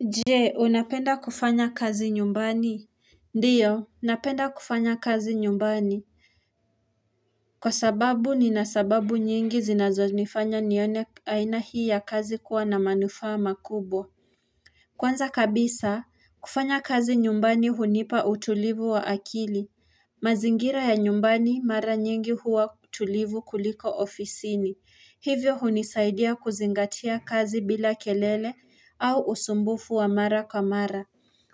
Je unapenda kufanya kazi nyumbani Ndiyo napenda kufanya kazi nyumbani Kwa sababu nina sababu nyingi zinazo nifanya nione aina hii ya kazi kuwa na manufaa makubwa Kwanza kabisa kufanya kazi nyumbani hunipa utulivu wa akili mazingira ya nyumbani mara nyingi huwa utulivu kuliko ofisini hivyo hunisaidia kuzingatia kazi bila kelele au usumbufu wa mara kwa mara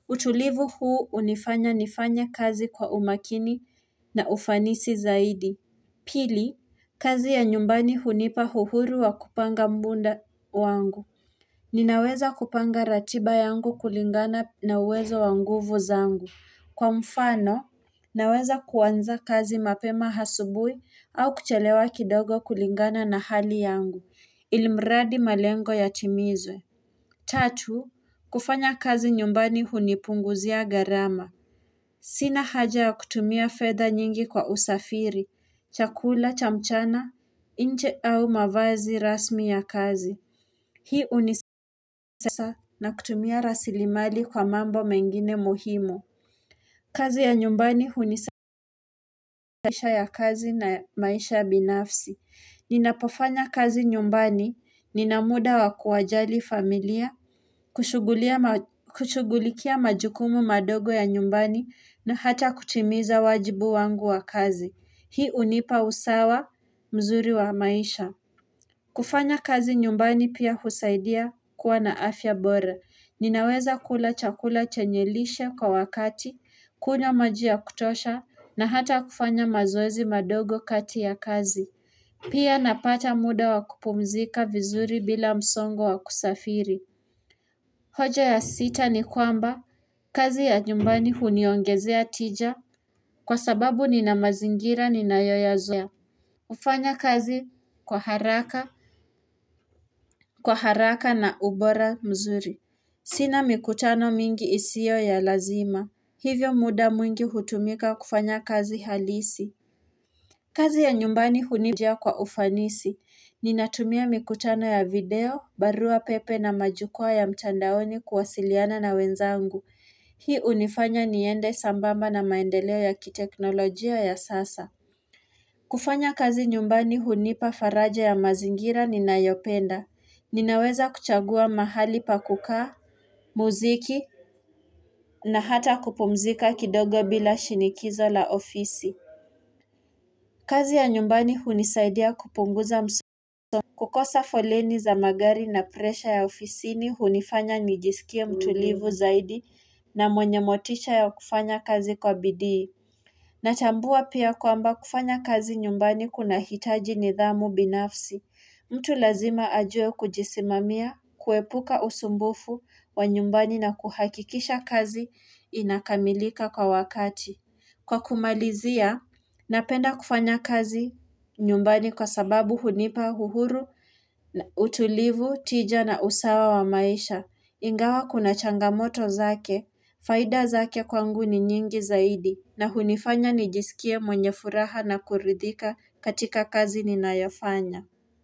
utulivu huu unifanya nifanya kazi kwa umakini na ufanisi zaidi. Pili, kazi ya nyumbani hunipa uhuru wa kupanga muda wangu. Ninaweza kupanga ratiba yangu kulingana na uwezo wa nguvu zangu. Kwa mfano, naweza kuanza kazi mapema asubuhi au kuchelewa kidogo kulingana na hali yangu. Ilimradi malengo ya timizwe. Tatu, kufanya kazi nyumbani hunipunguzia gharama Sina haja ya kutumia fedh nyingi kwa usafiri, chakula, cha mchana, nche au mavazi rasmi ya kazi Hii hunisasa na kutumia rasili mali kwa mambo mengine muhimu kazi ya nyumbani hunisasa ya kazi na maisha binafsi Ninapofanya kazi nyumbani, nina muda wa kuwajali familia kushughulia kushughulikia majukumu madogo ya nyumbani na hata kutimiza wajibu wangu wa kazi Hii hunipa usawa mzuri wa maisha kufanya kazi nyumbani pia husaidia kuwa na afya bora Ninaweza kula chakula chenye lishe kwa wakati Kunya maji ya kutosha na hata kufanya mazoezi madogo kati ya kazi Pia napata muda wa kupumzika vizuri bila msongo wa kusafiri hoja ya sita ni kwamba, kazi ya nyumbani huniongezea tija kwa sababu ni na mazingira nina yoyazoea. Ufanya kazi kwa haraka na ubora mzuri. Sina mikutano mingi isio ya lazima, hivyo muda mwingi hutumika kufanya kazi halisi. Kazi ya nyumbani hunijia kwa ufanisi, ninatumia mikutano ya video, barua pepe na majukua ya mtandaoni kuwasiliana na wenzangu. Hii unifanya niende sambamba na maendeleo ya kiteknolojia ya sasa kufanya kazi nyumbani hunipa faraja ya mazingira ninayopenda Ninaweza kuchagua mahali pa kukaa, muziki na hata kupumzika kidogo bila shinikizo la ofisi kazi ya nyumbani hunisaidia kupunguza mso kukosa foleni za magari na presha ya ofisini hunifanya nijisikia mtulivu zaidi na mwenye motisha ya kufanya kazi kwa bidii. Natambua pia kuamba kufanya kazi nyumbani kunahitaji nidhamu binafsi. Mtu lazima ajuee kujisimamia, kuepuka usumbufu wa nyumbani na kuhakikisha kazi inakamilika kwa wakati. Kwa kumalizia, napenda kufanya kazi nyumbani kwa sababu hunipa, uhuru, utulivu, tija na usawa wa maisha. Ingawa kuna changamoto zake, faida zake kwangu ni nyingi zaidi na hunifanya nijisikie mwenye furaha na kuridhika katika kazi ninayofanya.